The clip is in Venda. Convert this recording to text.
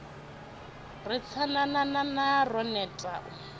ri tsanananana ro neta u